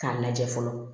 K'a lajɛ fɔlɔ